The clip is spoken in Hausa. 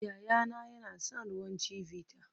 Yayana yana son ruwan Chivita